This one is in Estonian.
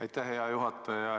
Aitäh, hea juhataja!